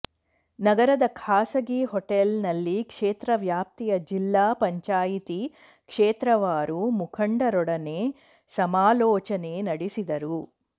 ನಗರದ ಖಾಸಗಿ ಹೊಟೇಲ್ ನಲ್ಲಿ ಕ್ಷೇತ್ರ ವ್ಯಾಪ್ತಿಯ ಜಿಲ್ಲಾ ಪಂಚಾಯಿತಿ ಕ್ಷೇತ್ರವಾರು ಮುಖಂಡರೊಡನೆ ಸಮಾಲೋಚನೆ ನಡೆಸಿದರು